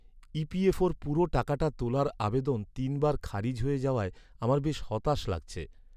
ইপিএফওর পুরো টাকাটা তোলার আবেদন তিনবার খারিজ হয়ে যাওয়ায় আমার বেশ হতাশ লাগছে।